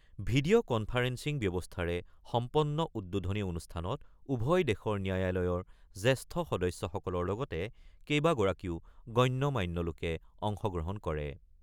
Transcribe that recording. Video conferencing ব্যৱস্থাৰে সম্পন্ন উদ্বোধনী অনুষ্ঠানত উভয় দেশৰ ন্যায়ালয়ৰ জ্যেষ্ঠ সদস্যসকলৰ লগতে কেইবাগৰাকীও গণ্য-মান্য লোকে অংশগ্ৰহণ কৰে।